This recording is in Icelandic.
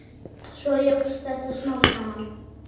Svo jókst þetta smám saman.